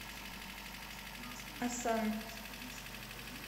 осан